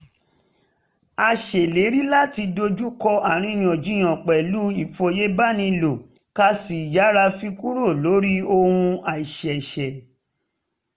a ṣèlérí láti dojú kọ àríyànjiyàn pẹ̀lú ìfòyebánilò ká sì yára fi kúrò lórí ohun àìṣeéṣe